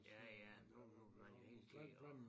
Ja ja nu nu man jo hele tiden og